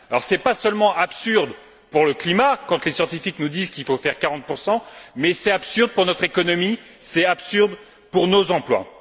Ce n'est pas seulement absurde pour le climat, quand les scientifiques nous disent qu'il faut atteindre 40 mais c'est absurde pour notre économie, c'est absurde pour nos emplois.